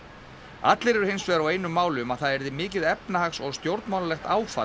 allir eru hins vegar á einu máli um að það yrði mikið efnahags og stjórnmálalegt áfall